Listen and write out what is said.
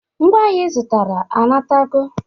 Ngwa ahịa ị zụtara anatago?